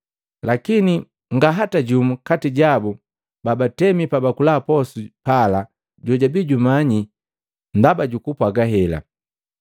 Lakini ngaa hata jumu kati jabu babatemi pabakula posu pala, jojwabii jumanyi ndaba jukumpwaga hela.